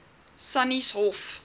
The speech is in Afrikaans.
sannieshof